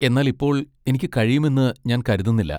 എന്നാൽ ഇപ്പോൾ എനിക്ക് കഴിയുമെന്ന് ഞാൻ കരുതുന്നില്ല.